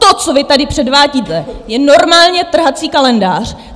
To, co vy tady předvádíte, je normálně trhací kalendář!